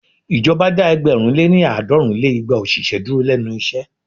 Ìjọba dá ẹgbẹ̀rún lé ní- àádọ́rùn lé igba òṣìṣẹ́ dúró lénu iṣẹ́.